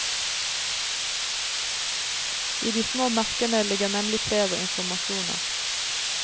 I de små merkene ligger nemlig flere informasjoner.